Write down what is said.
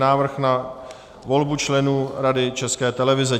Návrh na volbu členů Rady České televize